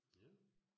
Ja